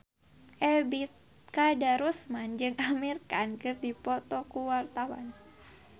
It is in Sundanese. Ebet Kadarusman jeung Amir Khan keur dipoto ku wartawan